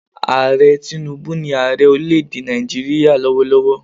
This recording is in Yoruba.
Ààrẹ Tinúbú ni Ààrẹ orílẹ̀ èdè Nàìjíríà lówólówó